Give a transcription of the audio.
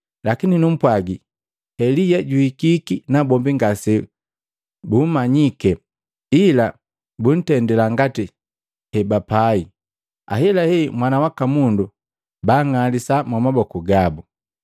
Lakini numpwagi, Elia juhikiki nabombi ngasebugumanyike, ila buntendila ngati hebapai. Ahelahela Mwana waka Mundu bang'alisa mwamaboku gabu.”